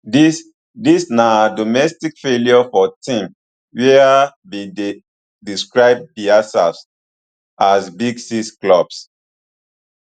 dis dis na domestic failure for teams wia bin dey describe diaserf as big six clubs